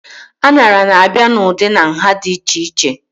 Aṅara na-abịa n'ụdị na nha dị iche iche